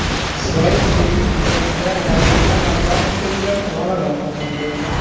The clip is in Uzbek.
Isroil debyut jangida raqibini nokautga uchratib, g‘alaba qozondi.